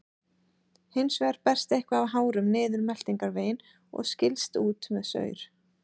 Hins vegar berst eitthvað af hárum niður meltingarveginn og skilst út með saur.